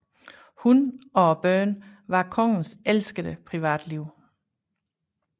Hun og børnene var kongens elskede privatliv